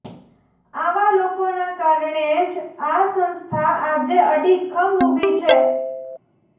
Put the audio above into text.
આવા લોકોને કારણે જ આ સંસ્થા આજે અડ઼ીખમ ઉભી છે